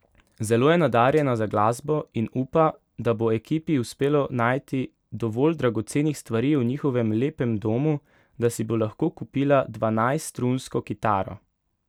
Zelo je nadarjena za glasbo in upa, da bo ekipi uspelo najti dovolj dragocenih stvari v njihovem lepem domu, da si bo lahko kupila dvanajststrunsko kitaro.